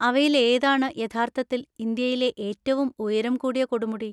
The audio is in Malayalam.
അവയിൽ ഏതാണ് യഥാർത്ഥത്തിൽ ഇന്ത്യയിലെ ഏറ്റവും ഉയരം കൂടിയ കൊടുമുടി?